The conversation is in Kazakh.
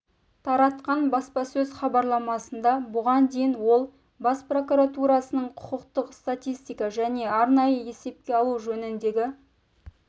таратқан баспасөз хабарламасында бұған дейін ол бас прокуратурасының құқықтық статистика және арнайы есепке алу жөніндегі